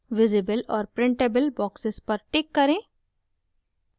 visible और printable boxes पर tick करें